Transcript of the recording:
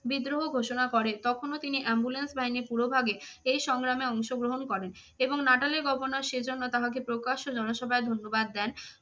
বিদ্রোহ ঘোষণা করে তখনও তিনি ambulane বাহিনীর পূরোভাগে এই সংগ্রামে অংশগ্রহণ করেন এবং নাটালের governor সেই জন্য তাহাকে প্রকাশ্য জনসভায় ধন্যবাদ দেন।